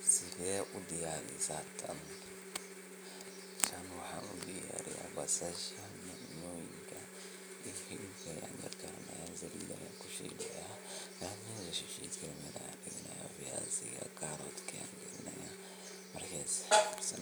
Sede u diyarisah taani tani waxan u diyarisah basasha Ina Salida kushutoh viyasika karootka.